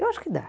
Eu acho que dá.